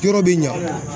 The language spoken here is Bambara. Yɔrɔ bɛ ɲa